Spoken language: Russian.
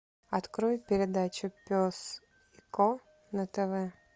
открой передачу пес и ко на тв